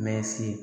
Mɛ se